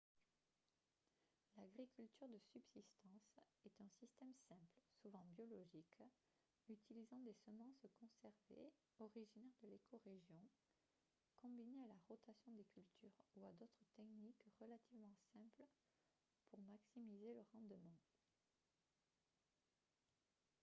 l'agriculture de subsistance est un système simple souvent biologique utilisant des semences conservées originaires de l'écorégion combinées à la rotation des cultures ou à d'autres techniques relativement simples pour maximiser le rendement